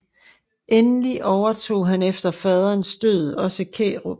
Endelig overtog han efter faderens død også Kærup